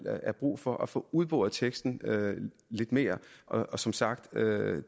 er brug for at få udboret teksten lidt mere og som sagt